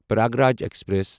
Prayagraj express